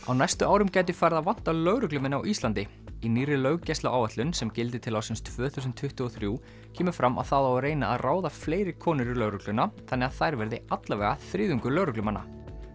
á næstu árum gæti farið að vanta lögreglumenn á Íslandi í nýrri löggæsluáætlun sem gildir til ársins tvö þúsund tuttugu og þrjú kemur fram að það á að reyna að ráða fleiri konur í lögregluna þannig að þær verði alla vega þriðjungur lögreglumanna